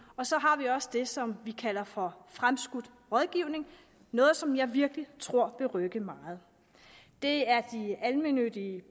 og så har vi også det som vi kalder for fremskudt rådgivning noget som jeg virkelig tror vil rykke meget det er de almennyttige